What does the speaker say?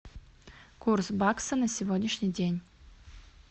курс бакса на сегодняшний день